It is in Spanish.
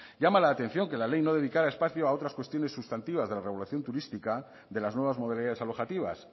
llama la atención que la ley no dedicara espacios a otras cuestiones sustantivas de la regulación turística de las nuevas modalidades alojativas